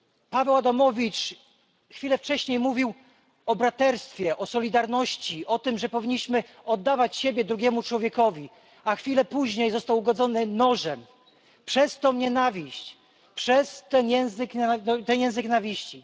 Paweł Adamowicz chwilę wcześniej mówił o braterstwie, o solidarności, o tym, że powinniśmy oddawać siebie drugiemu człowiekowi, a chwilę później został ugodzony nożem przez tę nienawiść, przez ten język nienawiści.